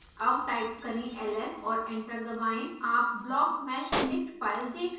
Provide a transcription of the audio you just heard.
अब टाइप करें ls और एंटर दबाएं आप blockmeshdict file देख सकते हैं